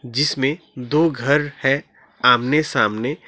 जिसमें दो घर है आमने सामने।